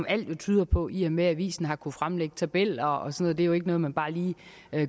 alt jo tyder på i og med at avisen har kunnet fremlægge tabeller og sådan det jo ikke noget man bare lige